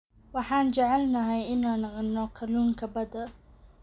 Waxaan jecelnahay inaan cunno kalluunka badda.